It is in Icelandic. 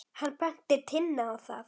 Hann benti Tinnu á það.